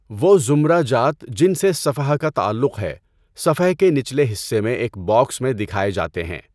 وہ زمرہ جات جن سے صفحہ کا تعلق ہے صفحہ کے نچلے حصے میں ایک باکس میں دکھائے جاتے ہیں۔